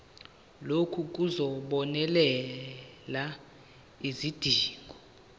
lokhu kuzobonelela izidingo